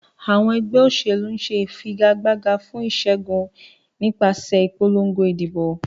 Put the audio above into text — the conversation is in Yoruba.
Àwọn ẹgbẹ́ òṣèlú ń figagbága fún ìṣẹ́gun nípasẹ̀ ìpolongo ìdìbò.